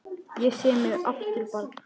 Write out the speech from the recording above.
Ég sé mig aftur barn.